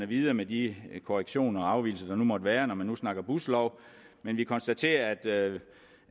videre med de korrektioner og afvigelser der nu måtte være når man snakker buslov men vi konstaterer